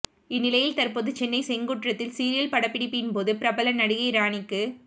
இந்நிலையில் தற்போது சென்னை செங்குன்றத்தில் சீரியல் படப்பிடிப்பின்போது பிரபல நடிகை ராணிக்கு